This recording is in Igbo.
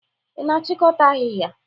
Ị na-achịkọta ahịhịa.